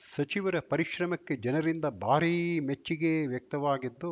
ಸಚಿವರ ಪರಿಶ್ರಮಕ್ಕೆ ಜನರಿಂದ ಭಾರೀ ಮೆಚ್ಚುಗೆ ವ್ಯಕ್ತವಾಗಿದ್ದು